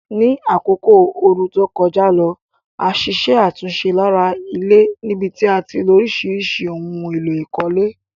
Ní àkókò ooru to kojá lo, a ṣiṣẹ́ àtúnse lára ilé níbití a tilo orísìrísì oun élò ìkólé